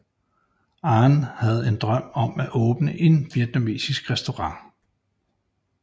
Anh havde en drøm om at åbne en vietnamesisk restaurant